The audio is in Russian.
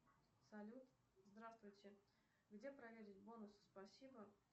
салют здравствуйте где проверить бонусы спасибо